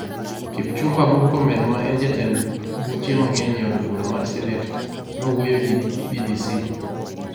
Kipchumba Murkomen, ma en jatend buche mang'eny e od bura mar senet, nowuoyo gi BBC.